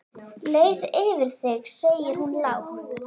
Leið yfir þig segir hún lágt.